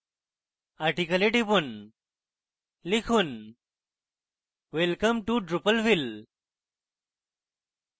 article এ টিপুন লিখুন welcome to drupalville